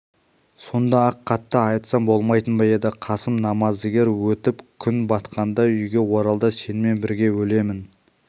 сонда-ақ қатты айтсам болмайтын ба еді қасым намаздыгер өтіп күн батқанда үйге оралды сенімен бірге өлемін